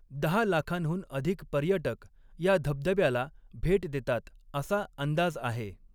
दहा लाखांहून अधिक पर्यटक या धबधब्याला भेट देतात असा अंदाज आहे.